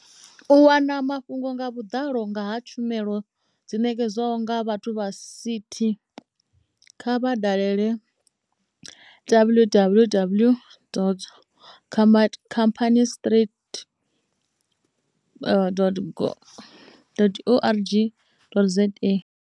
U wana mafhungo nga vhuḓalo nga ha tshumelo dzi ṋekedzwaho nga vha CT, kha vha dalele www.companiestribunal.org.za.